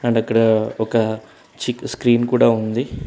And అక్కడ ఒక చిన్న స్క్రీన్ కూడా ఉంది.